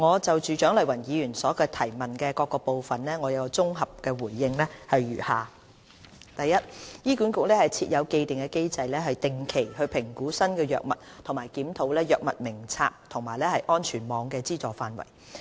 就蔣麗芸議員質詢的各部分，我綜合回應如下：醫管局設有既定機制定期評估新藥物和檢討藥物名冊和安全網的資助範圍。